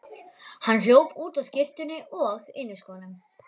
Hann hljóp út á skyrtunni og inniskónum.